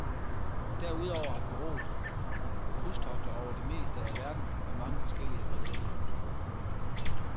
Derudover har bureauet krydstogter over det meste af verden med mange forskellige rederier.